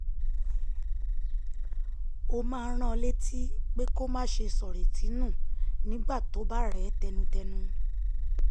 ọ máa ń rán an létí pé kó má ṣe sọ̀rètí nù nígbà tó bá rẹ̀ ẹ́ tẹnutẹnu